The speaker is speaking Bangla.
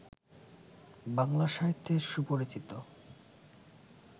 বাংলা সাহিত্যের সুপরিচিত